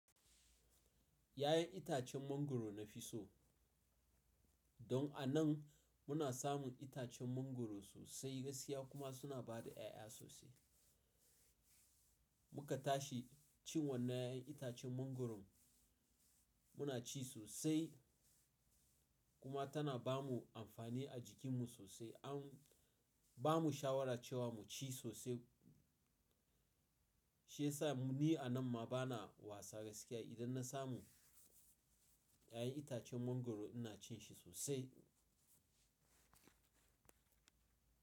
Ya'yan itacen mangwaro na fi so. Don a nan muna samun itacen mangwaro sosai, gaskiya kuma suna ba da ƴaƴa sosai. Muka tashi cin wannan ya'yan itacen mangwaron muna ci sosai kuma tana ba mu amfani a jikinmu sosai. An ba mu shawara cewa mu ci sosai shiyasa ni a nan ma ba na wasa gaskiya idan na samu ya'yan itacen mangwaro ina cin shi sosai.